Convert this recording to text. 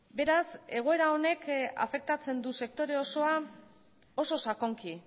beraz egoera honek afektatzen du sektore osoa oso sakonki